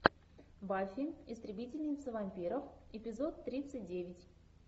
баффи истребительница вампиров эпизод тридцать девять